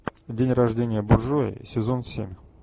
день рождения буржуя сезон семь